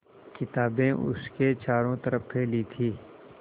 किताबें उसके चारों तरफ़ फैली थीं